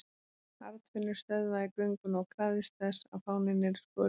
Arnfinnur stöðvaði gönguna og krafðist þess að fáninn yrði skorinn niður.